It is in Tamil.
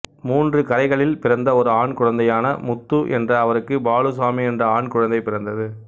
மூன்று கரைகளில் பிறந்த ஒரு ஆண் குழந்தையான முத்து என்ற அவருக்கு பாலுசாமி என்ற ஆண்குழந்தை பிறந்தது